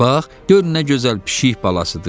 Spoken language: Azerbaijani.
gör nə gözəl pişik balasıdır!